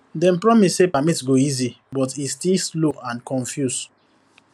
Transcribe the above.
dem promise say permit go easy but e still slow and confuse